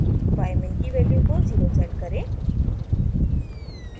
ymin की value को 0 set करें